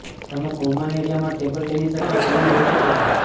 તમે કોમન એરિયામાં table tennis અથવા ટીવી જોઈ શકો છો